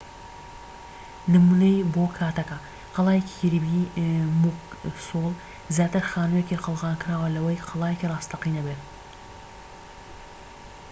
نمونەیی بۆ کاتەکە قەڵای کیربی موکسۆل زیاتر خانوویەکی قەڵغانکراوە لەوەی قەڵایەکی ڕاستەقینە بێت